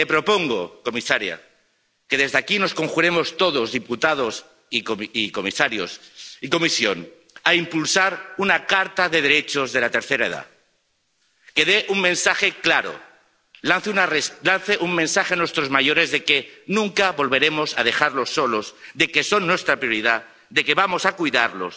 Y le propongo, comisaría, que desde aquí nos conjuremos todos, diputados y Comisión, para impulsar una carta de derechos de la tercera edad, que dé un mensaje claro, lance un mensaje a nuestros mayores de que nunca volveremos a dejarlos solos, de que son nuestra prioridad, de que vamos a cuidarlos